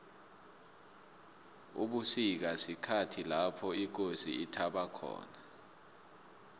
ubusika sikhhathi lopho ikosi ithaba khona